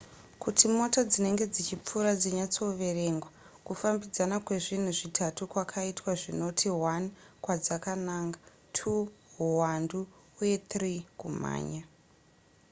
kuti mota dzinenge dzichipfuura dzinyatsoverengwa kufambidzana kwezvinhu zvitatu kwakaitwa zvinoti: 1 kwadzakananga 2 huwandu uye 3 kumhanya